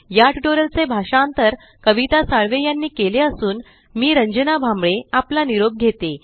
या टयूटोरियल चे भाषांतर कविता साळवे यांनी केलेले असून मी रंजना भांबळे आपला निरोप घेते